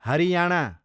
Haryana